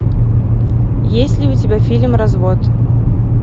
есть ли у тебя фильм развод